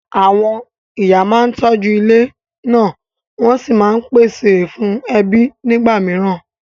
Àwọn ìyá máa ń tọ́jú ilé náà wọ́n sì máa ń pèsè fún ẹbí nígbà mìíràn.